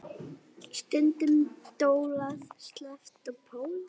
Stundum dólað, sleppt og spólað.